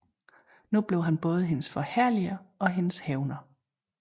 Nu blev han både hendes forherliger og hendes hævner